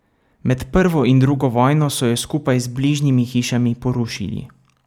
Med prvo in drugo vojno so jo skupaj z bližnjimi hišami porušili.